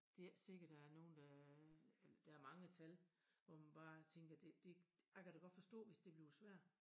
Det ikke sikkert der er nogen der er der mange tal hvor man bare tænker det det jeg kan da godt forstå hvis det bliver svært